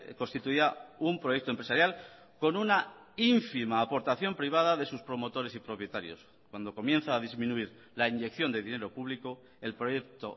constituía un proyecto empresarial con una ínfima aportación privada de sus promotores y propietarios cuando comienza a disminuir la inyección de dinero público el proyecto